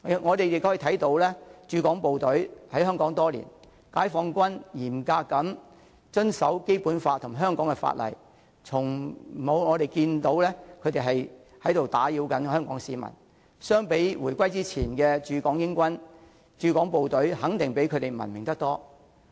我們可以看到解放軍駐港部隊在香港多年，嚴格遵守《基本法》及香港法例，從沒有看到他們打擾香港市民，相比回歸之前的駐港英軍，駐港部隊肯定比他們文明得多。